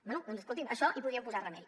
bé doncs escolti’m a això hi podríem posar remei